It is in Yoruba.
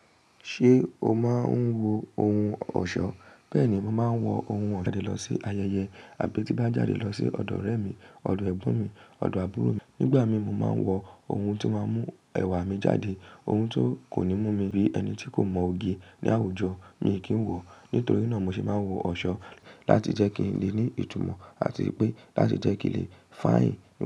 Ṣé o máa ń wo ohun ọ̀ṣọ́? Bẹ́ẹ̀ni, mo máa ń wọ ohun ọ̀ṣọ́ jáde lọ sí ayẹyẹ àbí tí bá jáde lọ sí ọ̀dọ̀ ọ̀rẹ́ mi, ọ̀dọ̀ ẹ̀gbọ́n mi, ọ̀dọ̀ àbúrò mi. Nígbà mí mo máa ń wọ ohun tó máa ń mú ẹwà mi jáde, ohun tó kò ní mú mi bí ẹni tí kò mọ òge ní àwùjọ mi kì í wọ. Nítorí náà mo sì máa ń wọ ọ̀ṣọ́ láti jẹ́ kí n lè ní ìtumọ̀ àti pé láti jẹ́ kí lè fàyìn.